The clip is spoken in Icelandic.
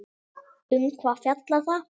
Um hvað fjallar það?